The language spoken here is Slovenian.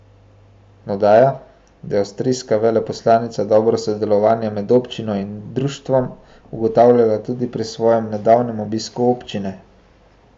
Dodaja, da je avstrijska veleposlanica dobro sodelovanje med občino in društvom ugotavljala tudi pri svojem nedavnem obisku občine.